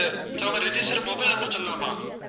sir உங்க registered mobile number சொல்லலாமா